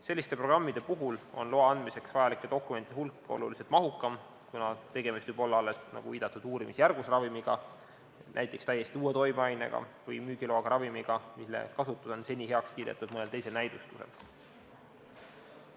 Selliste programmide puhul on loa andmiseks vajalike dokumentide hulk oluliselt mahukam, kuna tegemist võib olla alles, nagu viidatud, uurimisjärgus ravimiga, näiteks täiesti uue toimeainega või müügiloaga ravimiga, mille kasutus on seni heaks kiidetud mõnel teisel näidustusel.